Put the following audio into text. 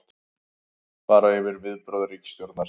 Fara yfir viðbrögð ríkisstjórnar